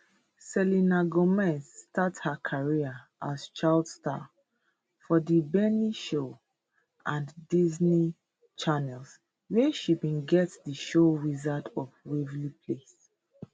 selena gomez start her career as child star for di barney show and disney channel wia she bin get di show wizards of waverly place